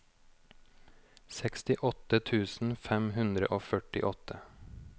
sekstiåtte tusen fem hundre og førtiåtte